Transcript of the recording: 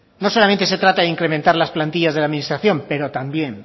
no solamente se trata de incrementar las plantillas de la administración pero también